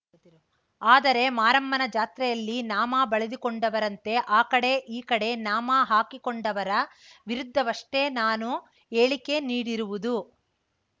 ಆದರೆ ಮಾರಮ್ಮನ ಜಾತ್ರೆಯಲ್ಲಿ ನಾಮ ಬಳಿದುಕೊಂಡವರಂತೆ ಆ ಕಡೆ ಈ ಕಡೆ ನಾಮ ಹಾಕಿಕೊಂಡವರ ವಿರುದ್ಧವಷ್ಟೇ ನಾನು ಹೇಳಿಕೆ ನೀಡಿರುವುದು